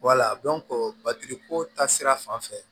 batiriko ta sira fan fɛ